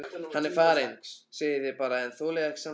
Hann er farinn segið þið bara en þolið ekki sannleikann.